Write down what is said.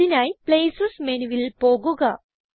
അതിനായി പ്ലേസസ് മെനുവിൽ പോകുക